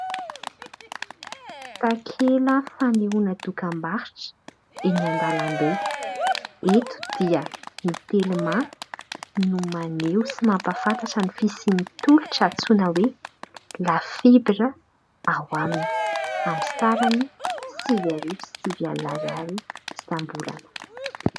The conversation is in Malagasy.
Takela fanehoana dokam-barotra eny an-dalambe. Eto dia ny "telma" no maneho sy mampahafantatra ny fisian'ny tolotra antsoina hoe "la fibre" ao aminy, amin'ny sarany sivy arivo sy sivy alina ariary isam-bolana.